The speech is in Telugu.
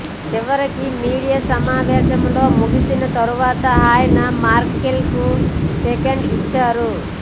చివరికి మీడియా సమావేశం ముగిసిన తరువాత ఆయన మెర్కెల్ కు షేక్ హ్యాండ్ ఇచ్చారు